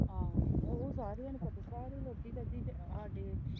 ਆਹੋ ਉਹ ਸਾਰੀਆਂ ਨੂੰ ਪਤਾ ਸਾਰੇ ਲੋਕੀ ਸਾਡੇ।